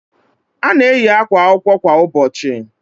A na eyi àkwà akwụkwọ kwa ụbọchị